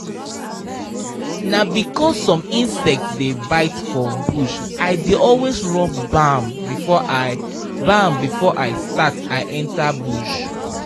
na because some insect dey bite for bush i dey always rub balm before i balm before i start i enter bush